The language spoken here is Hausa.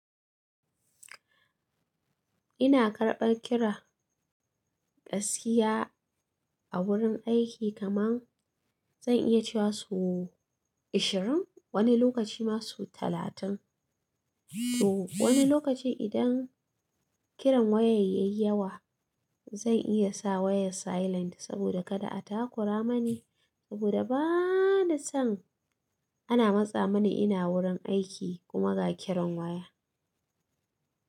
Ina karɓan kira gaskiya a wurin aiki kamar zan iya cewa sau ashirin, wani lokaci ma sau talatin. To wani lokacin idan kiran waya yayi yawa zan iya sa wayar silent saboda kada a takura mani saboda bana son ana matsa mani ina wurin aiki kuma ga kiran waya.